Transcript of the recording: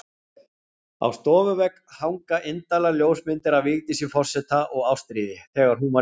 Á stofuvegg hanga indælar ljósmyndir af Vigdísi forseta og Ástríði, þegar hún var lítil.